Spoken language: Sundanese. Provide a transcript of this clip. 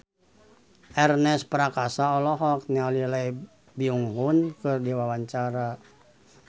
Ernest Prakasa olohok ningali Lee Byung Hun keur diwawancara